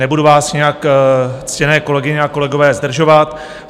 Nebudu vás nějak, ctěné kolegyně a kolegové, zdržovat.